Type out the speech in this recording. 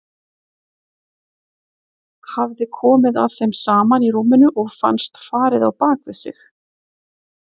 Hafði komið að þeim saman í rúminu og fannst farið á bak við sig.